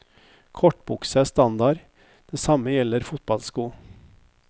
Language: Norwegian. Kortbukse er standard, det samme gjelder fotballsko.